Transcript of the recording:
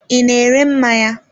I na-ere mmanya.